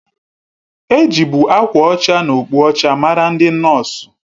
Ejibu akwa ọcha na okpu ọcha mara ndị nọọsu